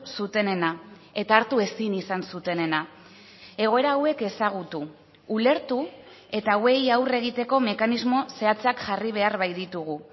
zutenena eta hartu ezin izan zutenena egoera hauek ezagutu ulertu eta hauei aurre egiteko mekanismo zehatzak jarri behar baititugu